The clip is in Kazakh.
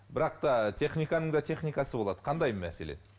бірақ та техниканың да техникасы болады кандай мәселен